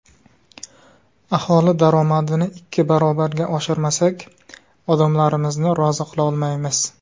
Aholi daromadini ikki barobarga oshirmasak, odamlarimizni rozi qila olmaymiz.